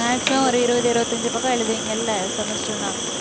so ஒரு இருவது இருபதைந்து பக்கம் எழுதுவீங்கல்ல semester னா